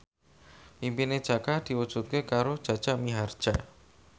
impine Jaka diwujudke karo Jaja Mihardja